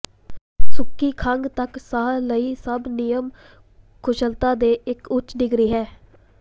ਸੁੱਕੀ ਖੰਘ ਤੱਕ ਸਾਹ ਲਈ ਸਭ ਨਿਯਮ ਕੁਸ਼ਲਤਾ ਦੇ ਇੱਕ ਉੱਚ ਡਿਗਰੀ ਹੈ